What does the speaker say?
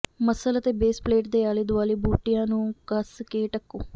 muscle ਅਤੇ base plate ਦੇ ਆਲੇ ਦੁਆਲੇ ਬੂਟਿਆਂ ਨੂੰ ਕੱਸ ਕੇ ਢੱਕੋ